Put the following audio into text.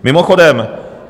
Mimochodem -